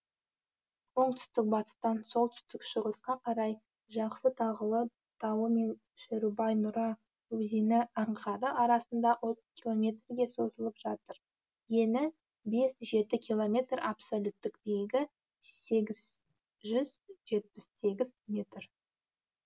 оңтүстік батыстан солтүстік шығысқа қарай жақсы тағылы тауы мен шерубай нұра өзені аңғары арасында отыз километрге созылып жатыр ені бес жеті километр абсолюттік биіктігі сегіз жүз жетпіс сегіз метр